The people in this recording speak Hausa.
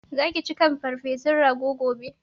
Zaka ci farfesun kan rago gobe?